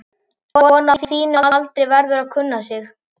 Kona á þínum aldri verður að kunna sig.